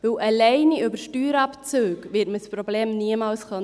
Denn allein über Steuerabzüge wird man das Problem niemals lösen können.